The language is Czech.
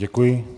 Děkuji.